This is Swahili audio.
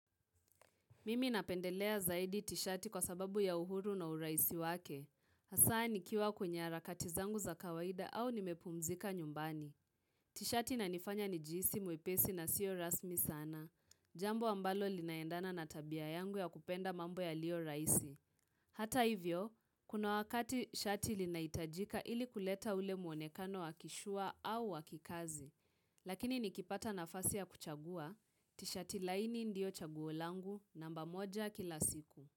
Mimi napendelea zaidi tishati kwa sababu ya uhuru na urahisi wake. Hasa nikiwa kwenye hara kati zangu za kawaida au nimepumzika nyumbani. Tishati na nifanya ni jihsi mwepesi na siyo rasmi sana. Jambo ambalo linaendana na tabia yangu ya kupenda mambo ya lio rahisi. Hata hivyo, kuna wakati shati linahitajika ili kuleta ule muonekano waki sure au wakikazi. Lakini nikipata nafasi ya kuchagua, tisha tilaini ndio chaguolangu namba moja kila siku.